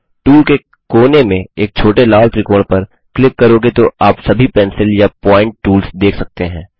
tool के कोने में एक छोटे लाल त्रिकोण पर क्लिक करोगे तो आप सभी पेंसिल या पॉइंट टूल्स देख सकते हैं